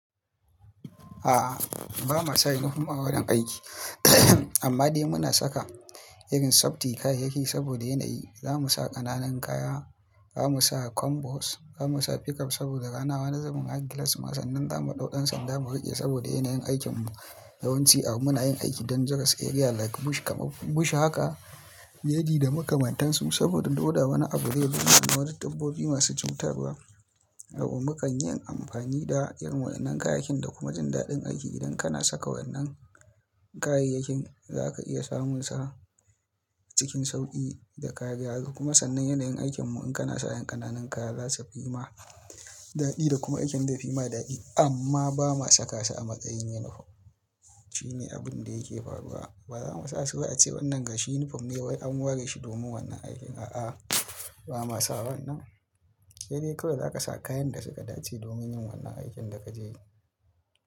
A'a, ba mu sa yunifom a wajen aiki. Amma dai muna saka irin safety kayayyaki saboda yanayi. Za mu sa ƙananan kaya, za mu sa combos, za mu sa pickup saboda rana wa na zaman har glass. Kuma sanan za mu ɗau dan sanda mu riƙe saboda yanayin aikin mu yawanci a muna yin aiki dangerous area like bush. Haka yadi da makamantansu saboda in dole wani abin yayi wani wani dabbobi masu cutarwa, to mu kan yi amfani da irin wannan kayayyakin da kuma jin daɗin aiki. Idan kana saka wannan kayayyakin za ka iya samunsa cikin sauƙi da kariya. Kuma sannan yanayin aikin mu in kana sa ƴan ƙananan kaya za su fi ma daɗi da kuma aikin zai fi ma daɗi. Amma ba mu sakasa a matsayin yunifom. Shine abin da yake faruwa. Ba za mu sa su a ce wannan gashi yunifom ne wai an ware shi domin wannan aikin. A'a, ba ma sa wannan. Sai dai kawai za ka sa kayan da suka dace domin yin wannan aikin da kaje yi.